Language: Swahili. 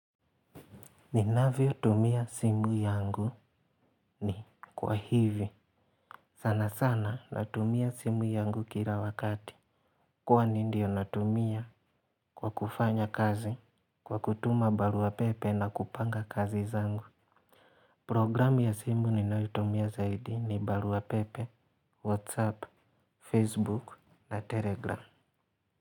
Ninavyotumia simu yangu ni kwa hivi. Sana sana natumia simu yangu kila wakati. Kwani ndio natumia kwa kufanya kazi. Kwa kutuma baruapepe na kupanga kazi zangu programu ya simu ninayotumia zaidi ni baruapepe, whatsapp, facebook na telegram.